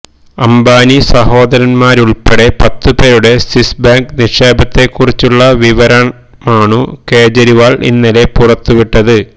അംബാനി സഹോദരന്മാരുള്പ്പെടെ പത്തുപേരുടെ സ്വിസ്ബാങ്ക് നിക്ഷേപത്തെക്കുറിച്ചുള്ള വിവരമാണു കേജരിവാള് ഇന്നലെ പുറത്തുവിട്ടത്